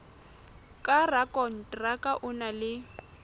ka rakonteraka o na le